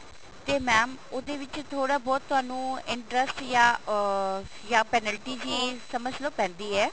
ਤੇ mam ਉਹਦੇ ਵਿੱਚ ਥੋੜਾ ਬਹੁਤ ਤੁਹਾਨੂੰ interest ਜਾਂ ਅਹ ਜਾਂ penalty ਜੀ ਸਮਝਲੋ ਪੈਂਦੀ ਏ